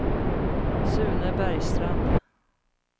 Sune Bergstrand